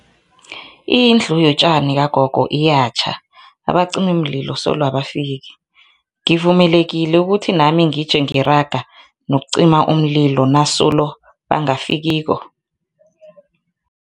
Indlu yotjani kagogo iyatjha, abacimimlilo solo abafiki, ngivumelekile ukuthi nami ngije ngiraga nokucima umlilo nasolo bangafikiko.